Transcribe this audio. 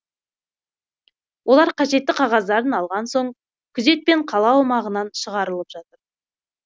олар қажетті қағаздарын алған соң күзетпен қала аумағынан шығаралып жатыр